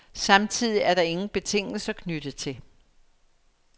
Samtidig er der ingen betingelser knyttet til.